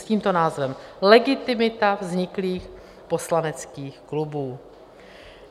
S tímto názvem: Legitimita vzniklých poslaneckých klubů.